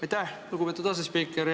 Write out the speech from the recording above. Aitäh, lugupeetud asespiiker!